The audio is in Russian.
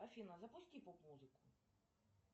афина запусти поп музыку